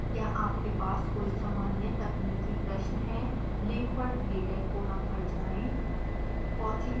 क्या आपके पास कोई सामान्य/तकनीकी प्रश्न है लिंक पर दिए गए फोरम पर जाएं